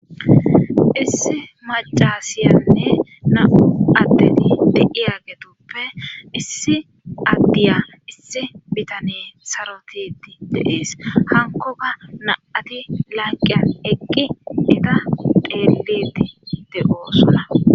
issi macasiyanne na7u addeti deiya getoppe issi addiya issi bitane sarotidi deis hankoka naati laaqiya eqqi ida dheelidi de7o sona